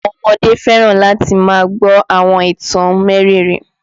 Àwọn ọmọdé fẹ́ràn láti máa gbọ àwọn ìtàn mériìírí